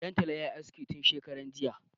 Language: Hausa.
Ɗan tala ya yi aske tun shekaran jiya.